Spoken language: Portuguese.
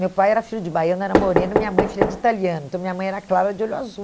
Meu pai era filho de baiano, era moreno, minha mãe filha de italiano, então minha mãe era clara de olho azul.